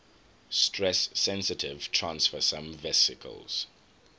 stress sensitive transfersome vesicles